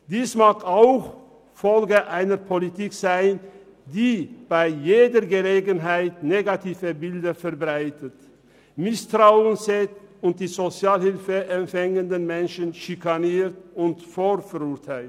Dies wohl auch infolge einer Politik, die bei jeder Gelegenheit negative Bilder verbreitet, Misstrauen zeigt und die sozialhilfeempfangenden Menschen schikaniert und vorverurteilt.